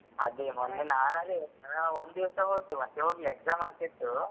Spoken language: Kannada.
ಅದೇ ಮೊನ್ನೆ ನಾನ್ ಅದೇ ಒಂದಿವ್ಸ ಹೊದ್ದು ಮತ್ತೆ ಹೋಗ್ಲಿಲ್ಲ exam ಆಗ್ತಾ ಇತ್ತು.